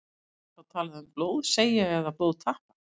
Er þá talað um blóðsega eða blóðtappa.